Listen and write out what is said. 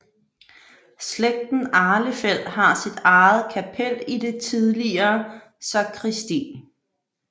Slægten Ahlefeldt har sit eget kapel i det tidligere sakristi